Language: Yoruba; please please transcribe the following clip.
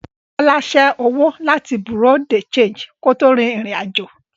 Bọ́lá ṣé owó láti Bùréàú de ṣéńjì kó tó rin ìrìn àjò